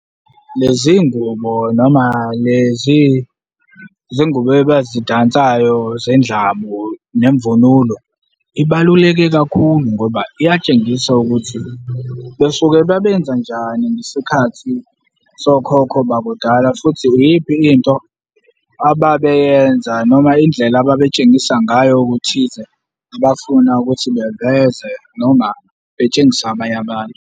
Lezi ngubo noma lezi zingubo abazidansayo zendlamu nemvunulo, ibaluleke kakhulu ngoba iyatshengisa ukuthi besuke babenza njani ngesikhathi sokhokho bakudala futhi iyiphi into ababeyenza noma indlela ababetshengisa ngayo okuthize abafuna ukuthi beveze noma betshengise abanye abantu.